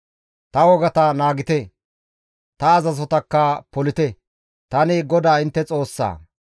Ta wogata naagite; ta azazotakka polite; tani GODAA intte Xoossaa.